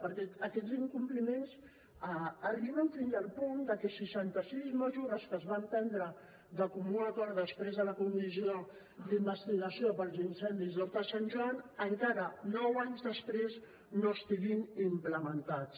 perquè aquests incompliments arriben fins al punt que seixanta sis mesures que es van prendre de comú acord després de la comissió d’investigació per l’incendi d’horta de sant joan encara nou anys després no estiguin implementades